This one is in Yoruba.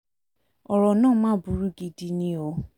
ọ̀rọ̀ náà máa burú gidi ni um o